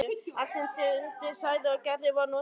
Allt sem Dundi sagði og gerði var notað gegn honum.